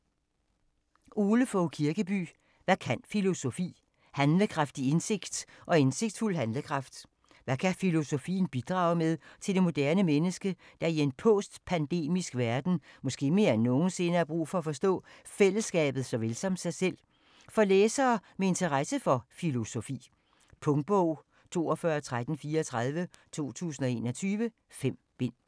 Kirkeby, Ole Fogh: Hvad kan filosofi?: handlekraftig indsigt og indsigtsfuld handlekraft Hvad kan filosofien bidrage med til det moderne menneske, der i en postpandemisk verden måske mere end nogensinde har brug for at forstå fællesskabet såvel som sig selv? For læsere med interesse for filosofi. Punktbog 421334 2021. 5 bind.